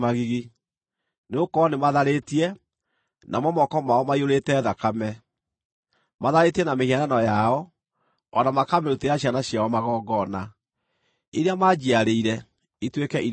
nĩgũkorwo nĩmatharĩtie, namo moko mao maiyũrĩte thakame. Matharĩtie na mĩhianano yao; o na makamĩrutĩra ciana ciao magongona, iria manjiarĩire, ituĩke irio ciayo.